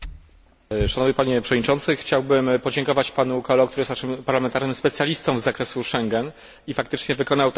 Chciałbym podziękować panu Coelho, który jest naszym parlamentarnym specjalistą z zakresu Schengen, i faktycznie wykonał także w tym zakresie ogromną pracę.